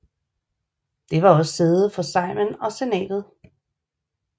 Det var også sæde for Sejmen og Senatet